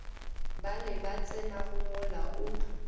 bale ba tsenago mola o